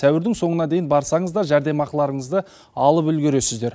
сәуірдің соңына дейін барсаңыз да жәрдемақыларыңызды алып үлгересіздер